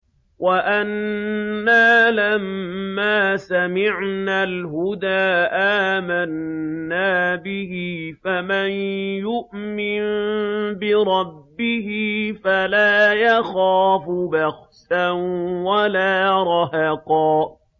وَأَنَّا لَمَّا سَمِعْنَا الْهُدَىٰ آمَنَّا بِهِ ۖ فَمَن يُؤْمِن بِرَبِّهِ فَلَا يَخَافُ بَخْسًا وَلَا رَهَقًا